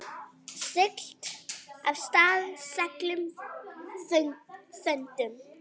Siglt af stað seglum þöndum.